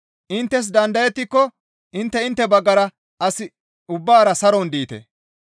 Inttes dandayettiko intte intte baggara as ubbaara saron diite.